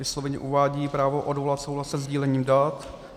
Vysloveně uvádí právo odvolat souhlas se sdílením dat.